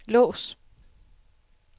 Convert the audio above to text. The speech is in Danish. lås